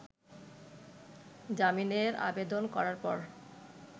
জামিনের আবেদন করার পর